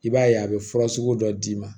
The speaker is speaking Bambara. I b'a ye a bɛ fura sugu dɔ d'i ma